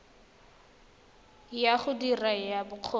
ya go dira ya bokgoni